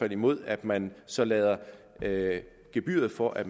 imod at man så lader gebyret for at